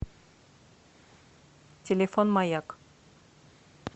телефон маяк